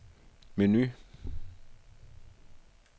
menu